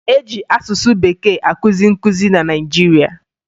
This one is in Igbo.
E ji asụsụ Bekee akụzi nkụzi na Naịjirịa